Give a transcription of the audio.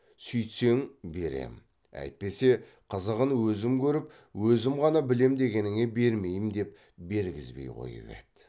сүйтсең берем әйтпесе қызығын өзім көріп өзім ғана білем дегеніңе бермеймін деп бергізбей қойып еді